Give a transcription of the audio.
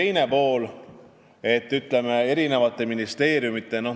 Nüüd teie küsimuse teisest poolest.